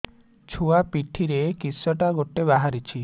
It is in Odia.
ଛୁଆ ପିଠିରେ କିଶଟା ଗୋଟେ ବାହାରିଛି